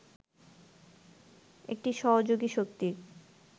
একটি সহযোগী শক্তির